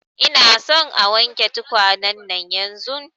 Ina son a wanke tukwane nan yanzun